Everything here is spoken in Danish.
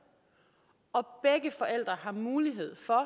og begge forældre har mulighed for